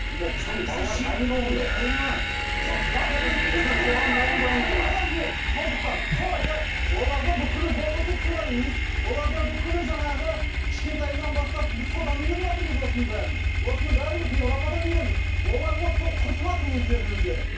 оларда бүкіл гомосексуалист оларда бүкіл жаңағы кішкентайынан бастап біз содан үйреніватырмыз осының бәрін осының бәрін біз европадан үйрендік олар вот сол құртыватыр өздерін өздері